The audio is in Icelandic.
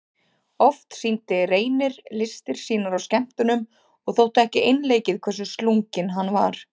Oft sýndi Reynir listir sínar á skemmtunum og þótti ekki einleikið hversu slunginn hann var.